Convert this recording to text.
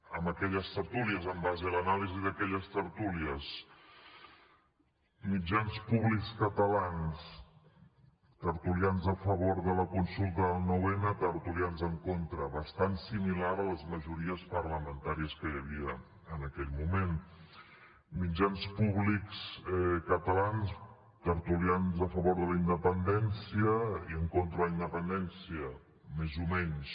en aquelles tertúlies en base a l’anàlisi d’aquelles tertúlies mitjans públics catalans tertulians a favor de la consulta del nou n tertulians en contra bastant similar a les majories parlamentàries que hi havia en aquell moment mitjans públics catalans tertulians a favor de la independència i en contra de la independència més o menys